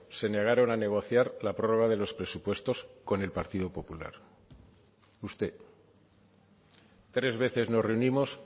se negaron a negociar la prórroga de los presupuestos con el partido popular usted tres veces nos reunimos